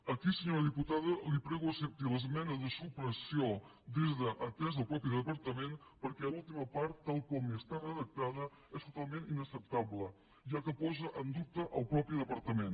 aquí senyora diputada li prego que accepti l’esmena de supressió des de atès a el propi departament perquè l’última part tal com està redactada és totalment inacceptable ja que posa en dubte el propi departament